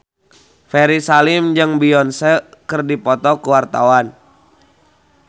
Ferry Salim jeung Beyonce keur dipoto ku wartawan